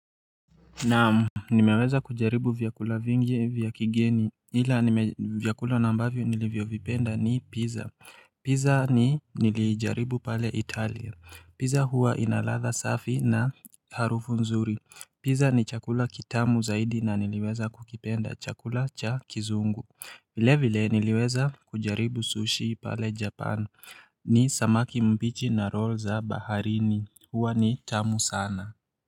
Naamu Nimeweza kujaribu vyakula vingi vya kigeni ila nime vyakula na ambavyo nilivyovipenda ni pizza Pizza ni nilijaribu pale italia Pizza huwa ina ladha safi na harufu nzuri Pizza ni chakula kitamu zaidi na niliweza kukipenda chakula cha kizungu vile vile niliweza kujaribu sushi pale japan ni samaki mbichi na roll za baharini huwa ni tamu sana.